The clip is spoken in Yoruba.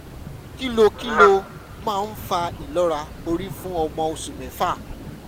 kí ló kí ló máa ń fa ìlọ́ra orí fún ọmọ oṣù mẹ́fà?